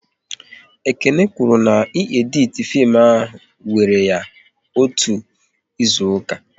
Ekene kwụrụ na ị editi fim ahụ wéré ya otú ịzụka